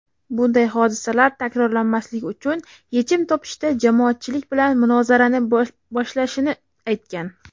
bunday hodisalar takrorlanmasligi uchun yechim topishda jamoatchilik bilan munozarani boshlashini aytgan.